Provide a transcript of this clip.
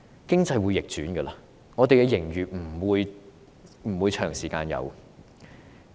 經濟會逆轉，本港不會長時間有盈餘。